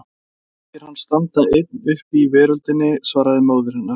Honum þykir hann standa einn uppi í veröldinni, svaraði móðir hennar.